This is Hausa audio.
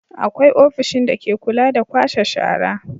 Akwai ofishin dake kula da kwashe shara.